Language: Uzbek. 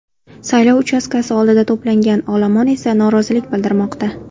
Saylov uchastkasi oldida to‘plangan olomon esa norozilik bildirmoqda.